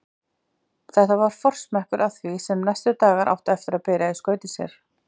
Þetta var forsmekkur að því sem næstu dagar áttu eftir að bera í skauti sér.